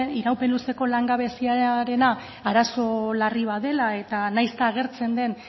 iraupen luzeko langabeziarena arazo larri bat dela eta nahiz eta agertzen den